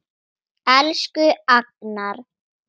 Elsku Agnar.